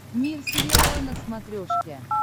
мир сериала на смотрешке